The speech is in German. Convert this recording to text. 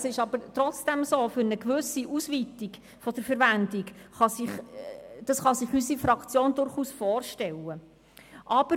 Es ist aber trotzdem so, dass sich unsere Fraktion eine gewisse Ausweitung der Verwendung durchaus vorstellen kann.